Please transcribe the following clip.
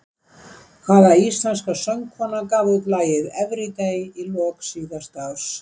Hvaða íslenska söngkona gaf út lagið Everyday í lok síðasta árs?